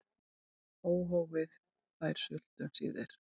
Óhófið fær sult um síðir.